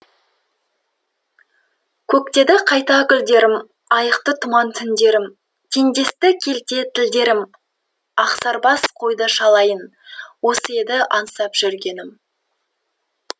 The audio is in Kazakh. көктеді қайта гүлдерім айықты тұман түндерім теңдесті келте тілдерім ақсарбас қойды шалайын осы еді аңсап жүргенім